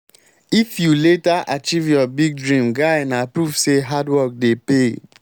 if you later achieve your big dream guy na proof say hard work dey pay.